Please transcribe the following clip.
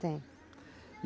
Tem.